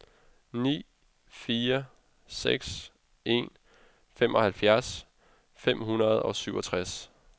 ni fire seks en femoghalvfjerds fem hundrede og syvogtres